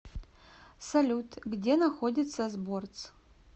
салют где находится сборц